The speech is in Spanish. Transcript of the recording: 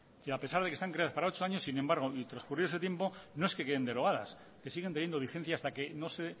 y a pesar de que están creadas para ocho años sin embargo y transcurrido ese tiempo no es que queden derogadas es que siguen teniendo vigencia hasta que no se